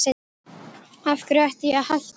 Af hverju ætti ég að hætta?